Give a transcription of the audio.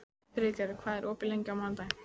Friðgerður, hvað er opið lengi á mánudaginn?